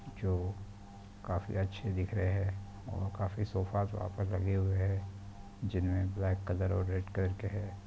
--जो काफी अच्छे दिख रहे है और काफी सोफ़ा वहाँ पर लगे हुए है जिनमे ब्लैक कलर और रेड कलर के है।